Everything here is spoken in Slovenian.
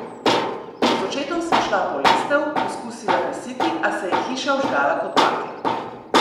Z očetom sva šla po lestev, poskusila gasiti, a se je hiša vžgala kot bakla.